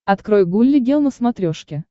открой гулли гел на смотрешке